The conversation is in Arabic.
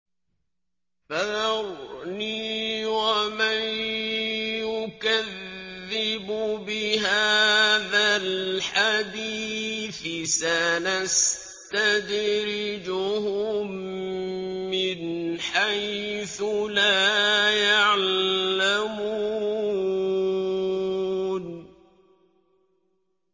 فَذَرْنِي وَمَن يُكَذِّبُ بِهَٰذَا الْحَدِيثِ ۖ سَنَسْتَدْرِجُهُم مِّنْ حَيْثُ لَا يَعْلَمُونَ